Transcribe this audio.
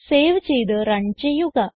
save ചെയ്ത് run ചെയ്യുക